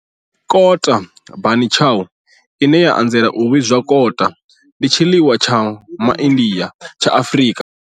Kota bunny chow, ine ya anzela u vhidzwa kota, ndi tshiḽiwa tsha Ma India tsha Afrika.